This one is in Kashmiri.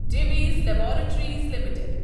Divi's laboratories L T D